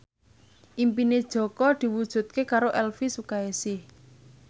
impine Jaka diwujudke karo Elvy Sukaesih